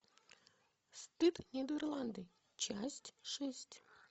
стыд нидерланды часть шесть